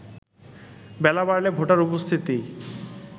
বেলা বাড়লে ভোটার উপস্থিতি